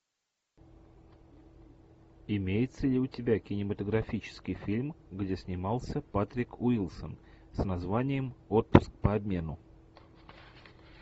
имеется ли у тебя кинематографический фильм где снимался патрик уилсон с названием отпуск по обмену